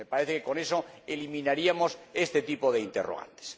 Me parece que con eso eliminaríamos este tipo de interrogantes.